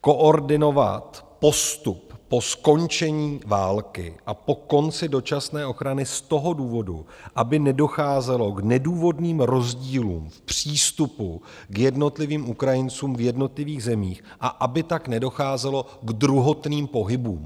koordinovat postup po skončení války a po konci dočasné ochrany z toho důvodu, aby nedocházelo k nedůvodným rozdílům v přístupu k jednotlivým Ukrajincům v jednotlivých zemích, a aby tak nedocházelo k druhotným pohybům.